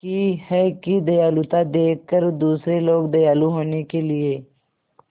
की है कि दयालुता देखकर दूसरे लोग दयालु होने के लिए